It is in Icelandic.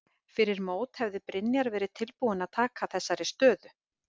Fyrir mót hefði Brynjar verið tilbúinn að taka þessari stöðu?